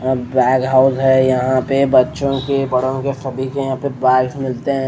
अह bag house है यहां पे बच्चों के बड़ों के सभी के यहां पे बैग्स मिलते हैं।